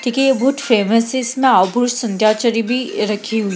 क्यूंकि ये बहोत फेमस है इसमें भी रखी हुई --